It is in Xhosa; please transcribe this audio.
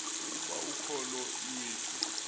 ukuba ukholo iwethu